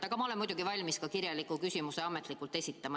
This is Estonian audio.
Aga ma olen muidugi valmis ka kirjaliku küsimuse ametlikult esitama.